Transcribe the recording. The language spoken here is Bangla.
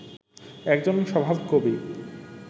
একজন স্বভাবকবি